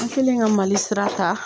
An kelen ka Mali sira ta